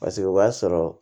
Paseke o b'a sɔrɔ